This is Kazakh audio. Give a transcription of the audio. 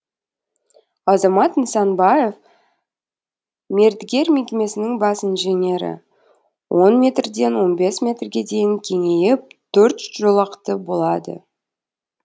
азамат нысанбаев мердігер мекемесінің бас инженері он метрден он бес метрге дейін кеңейіп төрт жолақты болады